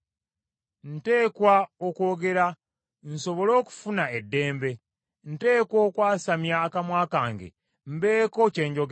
Nteekwa okwogera, nsobole okufuna eddembe, nteekwa okwasamya akamwa kange mbeeko kye njogera.